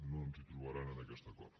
no ens hi trobaran en aquest acord